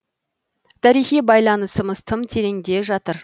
тарихи байланысымыз тым тереңде жатыр